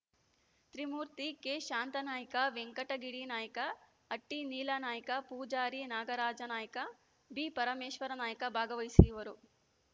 ತ್ರೀಮೂರ್ತಿ ಕೆಶಾಂತಾನಾಯ್ಕ ವೆಂಕಟಗಿರಿ ನಾಯ್ಕ ಹಟ್ಟಿನೀಲಾನಾಯ್ಕ ಪೂಜಾರಿ ನಾಗರಾಜನಾಯ್ಕ ಬಿಪರಮೇಶ್ವರನಾಯ್ಕ ಭಾಗವಹಿಸುವರು